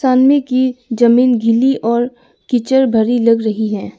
की जमीन गली और कीचड़ भरी लग रही है।